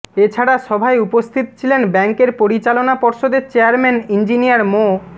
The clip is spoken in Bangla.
এ ছাড়া সভায় উপস্থিত ছিলেন ব্যাংকের পরিচালনা পর্ষদের চেয়ারম্যান ইঞ্জিনিয়ার মো